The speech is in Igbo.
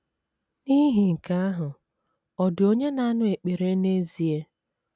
N’ihi nke ahụ, ọ̀ dị onye na - anụ ekpere n’ezie?